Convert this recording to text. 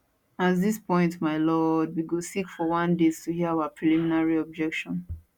at dis point my lord we go seek for one date to hear our preliminary objection